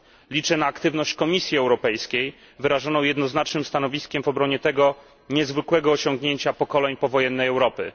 Liczę na aktywność Komisji Europejskiej wyrażoną jednoznacznym stanowiskiem w obronie tego niezwykłego osiągnięcia pokoleń powojennej Europy.